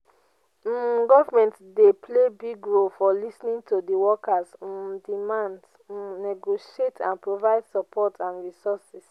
um government dey play big role by lis ten ing to di workers' um demands um negotiate and provide support and resources.